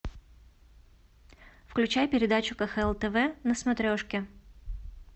включай передачу кхл тв на смотрешке